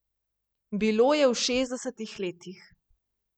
Bilo je v šestdesetih letih.